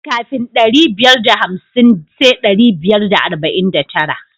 Kafin ɗari biyar da hamsin sai ɗari biyar da arba'in da tara.